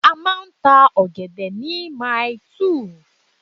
A máa ń ta ọ̀gẹ̀dẹ̀ ni Maili2